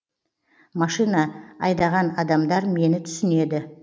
машина машина айдаған адамдар мені түсінеді